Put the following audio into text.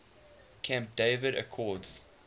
camp david accords